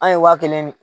An ye waa kelen de